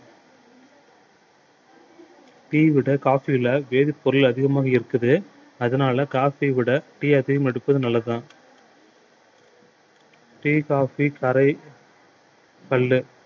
tea விட coffee ல வேதிப்பொருள் அதிகமாக இருக்குது அதனால coffee விட tea அதிகம் எடுப்பது நல்லதுதான் tea coffee